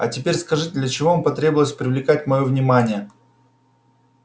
а теперь скажите для чего вам потребовалось привлекать моё внимание